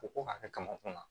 Ko ko hakɛ kama kunna